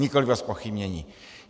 Nikoliv o zpochybnění.